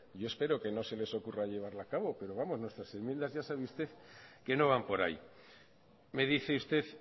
yo espero que no se les ocurra llevarla a cabo pero vamos nuestras enmiendas ya sabe usted que no van por ahí me dice usted